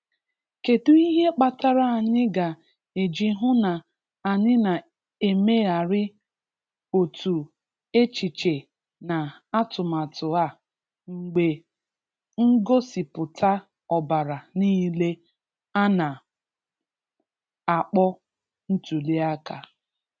Kedụ ihe kpatara anyị ga - eji hụ na anyị na - emegharị otu echiche na atụmatụ a mgbe ngosipụta ọbara niile ana - akpọ 'ntuli aka'?